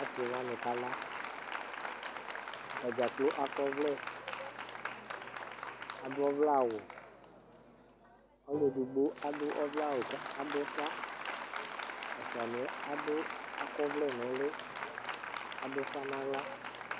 ase wani kala atadza kplo akɔ ɔvlɛ ado ɔvlɛ awu alo edigbo ado ɔvlɛ awu k'ado ufa ɛfoaniɛ ado akɔ ɔvlɛ n'uli k'ado ufa n'ala